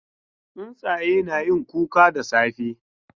Tsuntsayen na yin kuka da safe.